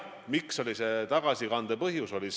Mis oli tagasikande põhjus?